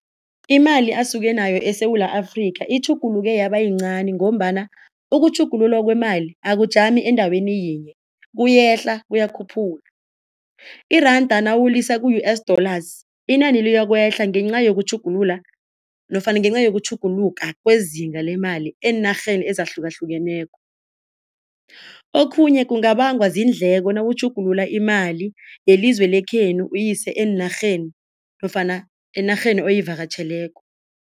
Imali asuke nayo eSewula Afrika itjhuguluke yaba yincani ngombana ukutjhugululwa kwemali akujami endaweni yinye kuyehla kuyakhuphuka. Iranda nawulisa ku-U_S dollars, inani liyokwehla ngenca yokutjhugulula nofana ngenca yokutjhugutjhuluka kwezinga lemali eenarheni ezahlukahlukeneko. Okhunye kungabangwa ziindleko nawutjhugulula imali yelizwe lekhenu uyise eenarheni nofana enarheni oyivakatjheleko.